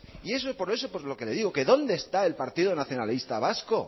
y por eso por lo que le digo que dónde está el partido nacionalista vasco